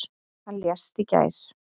Hann lést í gær.